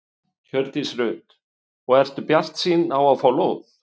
Hjördís Rut: Og ertu bjartsýn á að fá lóð?